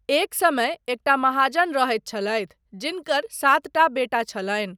एक समय एकटा महाजन रहैत छलथि जिनकर सातटा बेटा छलनि।